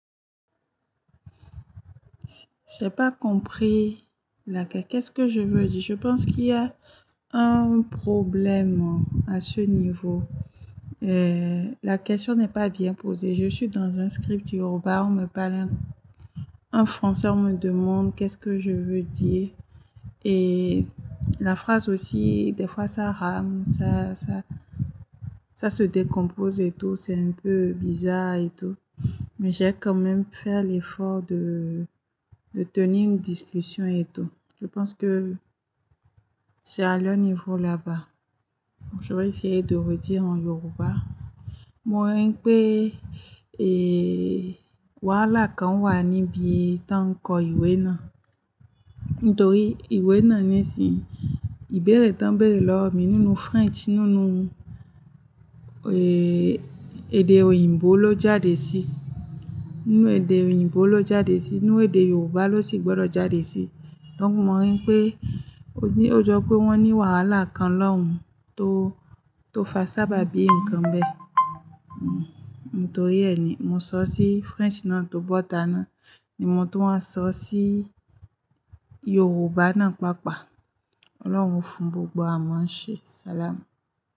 J'ai pas compris la qu-- qu'est-ce que je veux dire. Je pense qu'il y a un problème à ce niveau. Euh, la question n'est pas bien posée. Je suis dans un script yoruba, on me parle en français, on me demande qu'est-ce que je veux dire. Et la phrase aussi, des fois ça rame, ça, ça, ça se décompose et tout, c'est un peu bizarre et tout. Mais j'ai quand même fait l'effort de, de tenir une discussion et tout. Je pense que c'est à leur niveau là-bas. Je vais essayer de redire en yoruba. Mo rí pé, eeeh, wàhálà kan wà níbí táa n ko ìwé ná. Nítorí ìwé ná ní sin, ìbéèrè tán bèèrè lọ mí nínú French, nínú, eeeh, èdè òyìnbó ló jáde sí. Nínú èdè òyìnbó ló jáde sí, nínú èdè Yorùbá ló sì gbọdọ̀ jáde sí. Donc mo rí pé, o ní, ó jọ pé wọ́n ní wàhálà kan lọ́hùn tó, tó fa sábà bí nǹkan bẹ́ẹ̀. Hmm, nítorí ẹ ní mo sọ sí French ná tó bọ́ táná ni mo tó máa sọ sí Yorùbá ná pàápàá. Ọlọ́run fún gbogbo wa mọ́ ń ṣe. Salam.